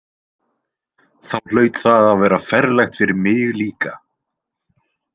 Þá hlaut það að vera ferlegt fyrir mig líka.